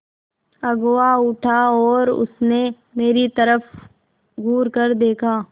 अगुआ उठा और उसने मेरी तरफ़ घूरकर देखा